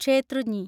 ക്ഷേത്രുഞ്ഞി